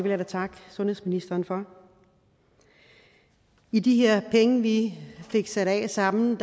jeg da takke sundhedsministeren for i de her penge vi fik sat af sammen